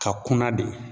Ka kunna de